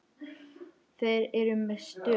Þeir eru með störu.